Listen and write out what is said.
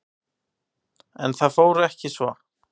En það fór ekki svo.